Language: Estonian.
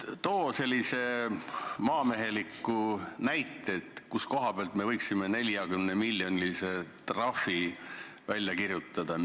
Too selline maamehelik näide, kus koha peal me võiksime 40-miljonilise trahvi välja kirjutada.